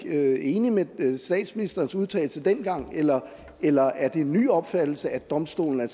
enig med den daværende statsministers udtalelse dengang eller eller er det en ny opfattelse at domstolen